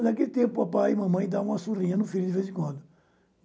Eu, naquele tempo, papai e mamãe davam uma surrinha no filho de vez em quando.